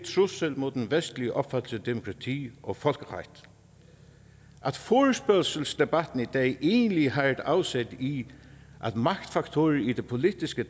trussel mod den vestlige opfattelse af demokrati og folkeret at forespørgselsdebatten i dag egentlig har et afsæt i at magtfaktorer i det politiske